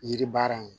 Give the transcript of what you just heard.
Yiri baara in